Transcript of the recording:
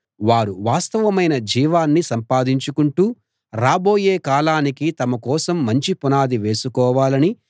వారు వాస్తవమైన జీవాన్ని సంపాదించుకుంటూ రాబోయే కాలానికి తమ కోసం మంచి పునాది వేసుకోవాలనీ